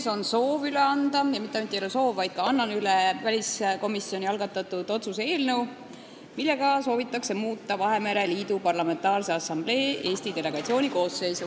Mul on soov üle anda ja mitte ainult ei ole soov, vaid ma ka annan üle väliskomisjoni algatatud otsuse eelnõu, millega soovitakse muuta Vahemere Liidu Parlamentaarse Assamblee Eesti delegatsiooni koosseisu.